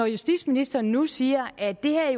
justitsministeren nu siger at det her